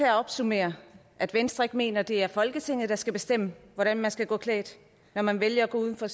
opsummere at venstre ikke mener det er folketinget der skal bestemme hvordan man skal gå klædt når man vælger at gå uden for